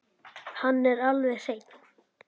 Hann er alveg hreinn.